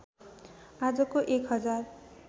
आजको एक हजार